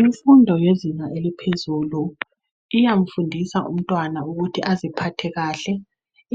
Imfundo yezinga eliphezulu iyamfundisa umntwana ukuthi aziphathe kahle